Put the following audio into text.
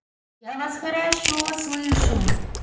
я вас хорошо слышу